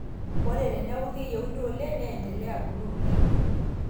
Ore teneeku keyieuni oleng neendelea abulu oleng.